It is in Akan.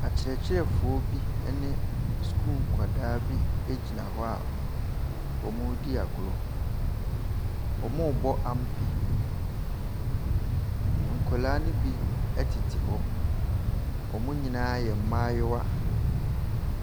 Akyerɛkyerɛfoɔ bi ne sukuu nkwadaa bi egyina hɔ a wɔredi agorɔ. Wɔrebɔ ampe. Nkwaraa no bi ɛtete hɔ. Wɔn nyinaa yɛ mmaayewa.